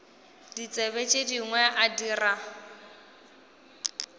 ditsebi tše dingwe a dira